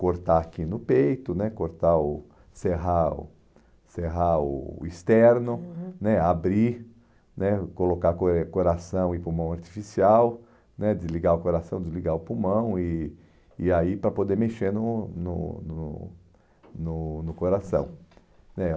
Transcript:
cortar aqui no peito né, cortar o serrar o serrar o o externo, uhum né, abrir né, colocar coração e pulmão artificial né, desligar o coração, desligar o pulmão, e e aí para poder mexer no no no no no coração né.